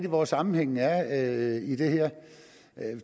hvor sammenhængen er i det her